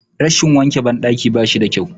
Rashin wanke ban ɗaki bashi da kyau